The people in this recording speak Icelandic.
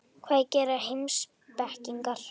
Hvað gera heimspekingar?